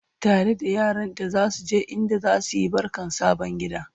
tare da yaranta zasu je inda zasuyi barkan sabon gida